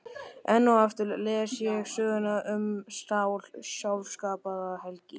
Enn og aftur les ég söguna um Sál, sjálfskapaða helgi